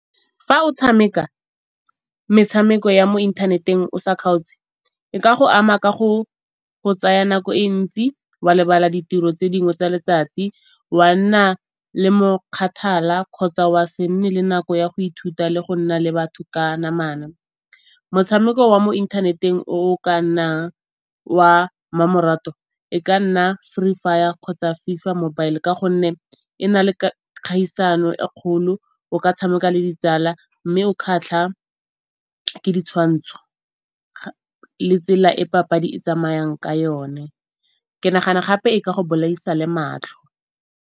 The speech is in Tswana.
Fa o tshameka metshameko ya mo inthaneteng o sa kgaotse e ka go ama ka go go tsaya nako e ntsi, wa lebala ditiro tse dingwe tsa letsatsi. Wa nna le mo kgathala kgotsa wa se nne le nako ya go ithuta le go nna le batho ka namana. Motshameko wa mo inthaneteng o o ka nnang wa mmamoratwa e ka nna Free Fire kgotsa FIFA mobile ka gonne e na le kgaisano e kgolo. O ka tshameka le ditsala mme o kgatlha ke ditshwantsho le tsela e papadi e tsamayang ka yone. Ke nagana gape e ka go bolaisa le matlho.